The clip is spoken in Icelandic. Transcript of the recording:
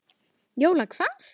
Jóla hvað?